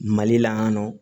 Mali la yan nɔ